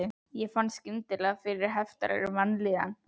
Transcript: Ég fann skyndilega fyrir heiftarlegri vanlíðan.